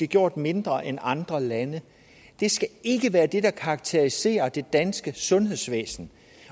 gjort mindre end andre lande det skal ikke være det der karakteriserer det danske sundhedsvæsen